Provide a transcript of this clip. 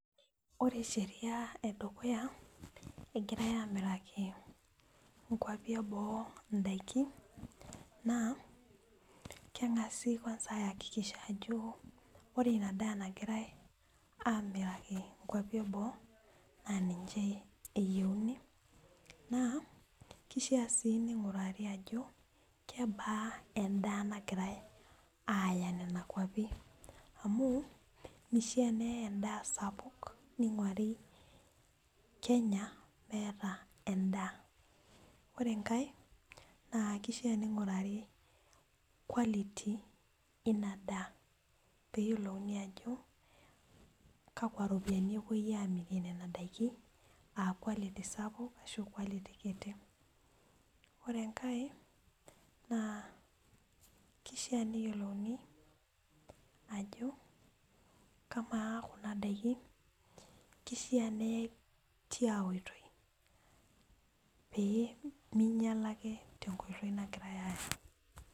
Ore sheria edukuya egirae amiraki inkuapi eboo indaikin naa keng'asi kwanza ayakikisha ajo ore ina daa nagirae amiraki inkuapi eboo naa ninche eyieuni naa kishia sii ning'urari ajo kebaa endaa nagirae aaya nena kuapi amu mishia neyae endaa sapuk ning'uari kenya meeta endaa ore enkae naa kishia ning'urari quality ina daa peyiolouni ajo kakwa ropiyiani epuoi amirie nena daiki aa quality sapuk ashu quality kiti ore enkae naa kishia neyiolouni ajo kamaa kuna daikin kishia neyae tia oitoi pee minyiala ake tenkoitoi nagirae aya.